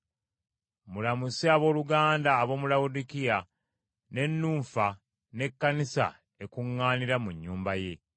Mulamuse abooluganda ab’omu Lawodikiya, ne Nunfa, n’ekkanisa ekuŋŋaanira mu nnyumba ye.